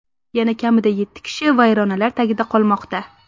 Yana kamida yetti kishi vayronalar tagida qolmoqda.